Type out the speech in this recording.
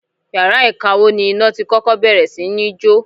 Yàrá ìkawó ni iná tí kọ́kọ́ bẹ̀rẹ̀ sí ní jó.